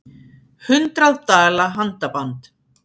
Hundrað dala handaband